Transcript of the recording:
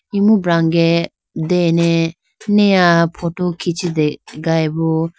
Imu brange dene niya photo khichitegayi bo.